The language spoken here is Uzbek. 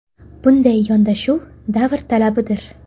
Bunday yondashuv – davr talabidir.